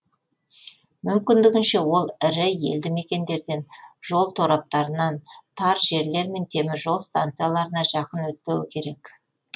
мүмкіндігінше ол ірі елді мекендерден жол тораптарынан тар жерлер мен темір жол станцияларына жақын өтпеуі керек